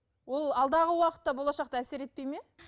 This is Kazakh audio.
ол алдағы уақытта болашақта әсер етпейді ме